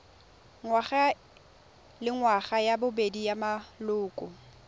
ngwagalengwaga ya bobedi ya maloko